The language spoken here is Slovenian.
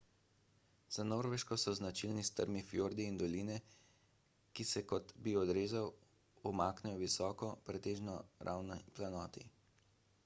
za norveško so značilni strmi fjordi in doline ki se kot bi odrezal umaknejo visoki pretežno ravni planoti